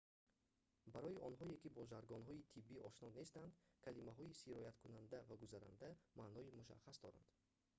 барои онҳое ки бо жаргонҳои тиббӣ ошно нестанд калимаҳои «сирояткунанда» ва «гузаранда» маънои мушаххас доранд